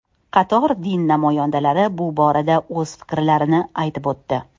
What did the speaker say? Qator din namoyandalari bu borada o‘z fikrlarini aytib o‘tdi.